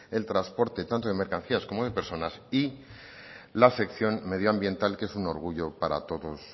el transporte tanto de mercancías como de personas y la sección medioambiental que es un orgullo para todos